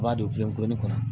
I b'a don geni kɔnɔ